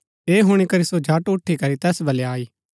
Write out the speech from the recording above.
ऐह हुणी करी सो झट उठी करी तैस बलै आई